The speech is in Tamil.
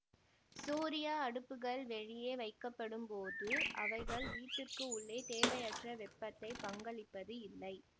சூரிய அடுப்புகள் வெளியே வைக்கப்படும் போது அவைகள் வீட்டிற்கு உள்ளே தேவையற்ற வெப்பத்தை பங்களிப்பது இல்லை